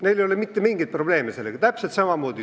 Neil ei ole mitte mingeid probleeme sellega.